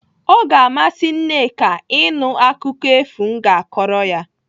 O ga-amasị Nneka ịnụ akụkọ efu m ga-akọrọ ya.